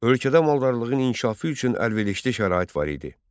Ölkədə maldarlığın inkişafı üçün əlverişli şərait var idi.